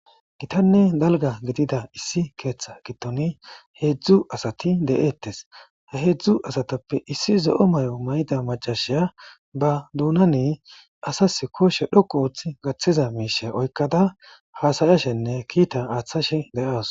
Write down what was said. Gittanne dalgga gidida issi keththa giddonni hedzdzu asatti de'ettes. He hedzdzu asattappe issi zo'o may'o may'ida maccassiya ba doonani asas kushshera huphphen wottiza mishshatta oykkada hasa'ashenne kiita attashe de'awus.